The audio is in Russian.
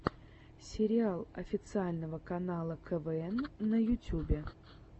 сериал официального канала квн на ютюбе